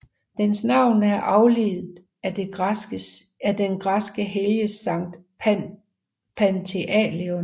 Dens navn er afledt af den græskes helgen Sankt Pantaleon